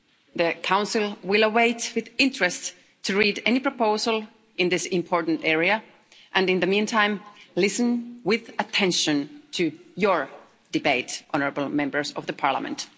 The Council will await with interest any proposal in this important area and, in the meantime, listen with attention to your debate, honourable Members of the Parliament.